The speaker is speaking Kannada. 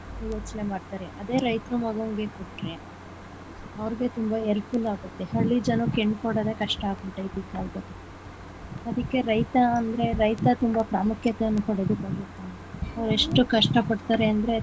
ಯೋಚನೆ ಮಾಡ್ತಾರೆ ಅದೇ ರೈತರು ಮಗನಿಗೆ ಕೊಟ್ರೆ ಅವ್ರ್ಗು ತುಂಬಾ helpful ಆಗುತ್ತೆ ಹಳ್ಳಿ ಜನಕ್ಕೆ ಹೆಣ್ಣು ಕೊಡೋದೇ ಕಷ್ಟ ಆಗ್ಬಿಟ್ಟಿದೆ ಈ ಕಾಲದಲ್ಲಿ ಅದಿಕ್ಕೆ ರೈತ ಅಂದ್ರೆ ರೈತ ತುಂಬಾ ಪ್ರಾಮುಖ್ಯತೆಯನ್ನು ಅವ್ರ್ ಎಷ್ಟು ಕಷ್ಟ ಪಡ್ತಾರೆ ಅಂದ್ರೆ.